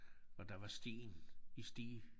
Og der var sten i Stege